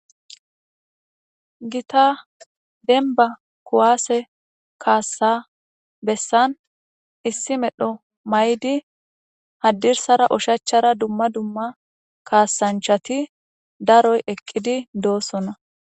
Gitta demba kuwase kasa besani issi medho mayidi hadirsra oshachara duma duma kasancahti daroyi eqidi dosona .